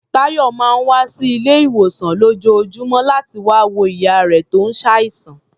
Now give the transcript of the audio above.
Táyọ̀ máa ń wá sí ilé-ìwòsàn ní lójoojúmọ́ láti wá wo ìyá rẹ̀ tó ṣàìsàn.